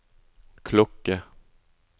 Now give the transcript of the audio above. klokke